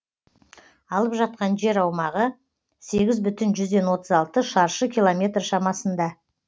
алып жатқан жер аумағы сегіз бүтін жүзден отыз алты шаршы километр шамасында